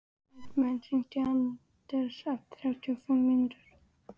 Hartmann, hringdu í Anders eftir þrjátíu og fimm mínútur.